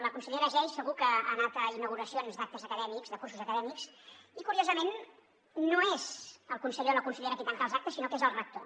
la consellera geis segur que ha anat a inauguracions d’actes acadèmics de cursos acadèmics i curiosament no és el conseller o la consellera qui tanca els actes sinó que és el rector